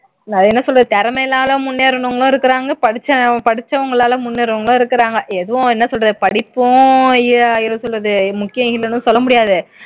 நான் என்ன சொல்றேன் திறமைனால முன்னேறுனவுங்களும் இருக்கிறாங்க படிச்ச படிச்சவுங்களால முன்னேறுனவுங்களும் இருக்கிறாங்க எதுவும் என்ன சொல்றது படிப்பும் எ என்ன சொல்றது முக்கியம் இல்லைன்னு சொல்ல முடியாது